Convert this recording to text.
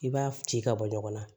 I b'a ci ka bɔ ɲɔgɔn na